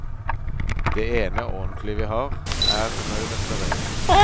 Det ene, ordentlige vi har, er under restaurering.